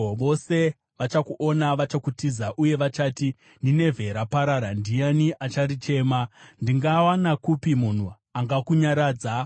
Vose vachakuona vachakutiza uye vachati, ‘Ninevhe raparara, ndiani acharichema?’ Ndingawana kupi munhu angakunyaradza?”